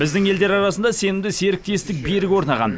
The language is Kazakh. біздің елдер арасында сенімді серіктестік берік орнаған